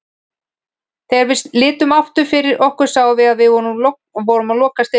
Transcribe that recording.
Þegar við litum aftur fyrir okkur sáum við að við vorum að lokast inni.